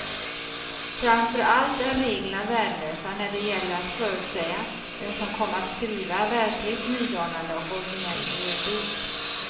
Framför allt är reglerna värdelösa när det gäller att förutsäga vem som kommer att skriva verkligt nydanande och originell juridik.